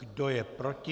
Kdo je proti?